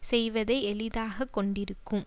செய்வதை எளிதாக கொண்டிருக்கும்